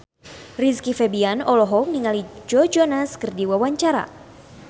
Rizky Febian olohok ningali Joe Jonas keur diwawancara